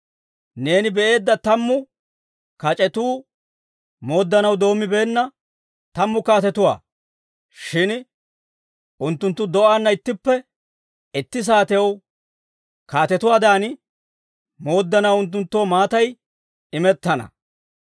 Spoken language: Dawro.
«Neeni be'eedda tammu kac'etuu mooddanaw doommibeenna tammu kaatetuwaa. Shin unttunttu do'aana ittippe itti saatew kaatetuwaadan mooddanaw unttunttoo maatay imettana.